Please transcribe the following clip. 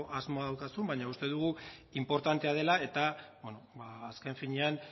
asmoa daukazun baina uste dugu inportantea dela eta azken finean